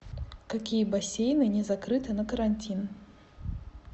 какие бассейны не закрыты на карантин